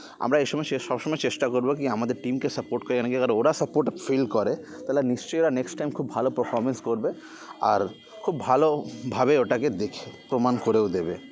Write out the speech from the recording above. আমরা এ সময়ে সে সবসময় চেষ্টা করবো কি আমাদের team কে support করে কেন কী তালে ওরা support feel করে তালে নিশ্চয়ই ওরা next time খুব ভালো performance করবে আর খুব ভালো ভাবে ওটাকে দেখে প্রমাণ করে ও দেবে